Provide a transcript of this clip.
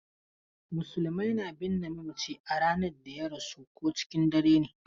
Musulmai na binne mamaci a ranar da ya rasu ko cikin dare ne.